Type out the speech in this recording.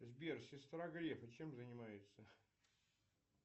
сбер сестра грефа чем занимается